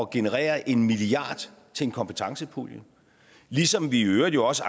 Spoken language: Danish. generere en milliard til en kompetencepulje ligesom vi i øvrigt også